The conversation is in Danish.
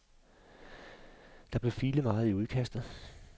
Der blev filet meget i udkastet.